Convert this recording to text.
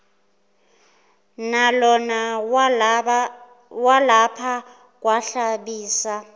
nalona walapha kwahlabisa